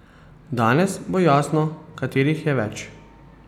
Danes bo jasno, katerih je več.